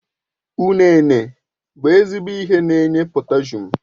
Ụnene bụ ezigbo ihe n'enye potashum